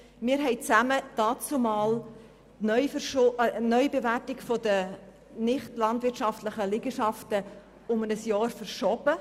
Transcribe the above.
Wir haben dannzumal die Neubewertung der nicht landwirtschaftlichen Liegenschaften um ein Jahr verschoben.